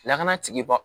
Lakana tigiba